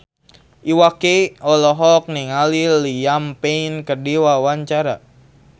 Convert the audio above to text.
Iwa K olohok ningali Liam Payne keur diwawancara